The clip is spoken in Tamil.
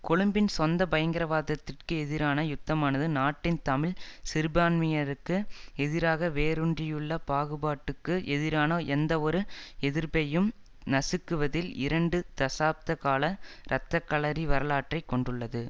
கொழும்பின் சொந்த பயங்கரவாதத்திற்கு எதிரான யுத்தமானது நாட்டின் தமிழ் சிறுபான்மையினருக்கு எதிராக வேரூன்றியுள்ள பாகுபாட்டுக்கு எதிரான எந்தவொரு எதிர்ப்பையும் நசுக்குவதில் இரண்டு தசாப்த கால இரத்த களரி வரலாற்றை கொண்டுள்ளது